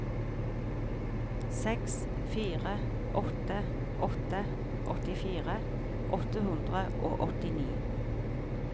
seks fire åtte åtte åttifire åtte hundre og åttini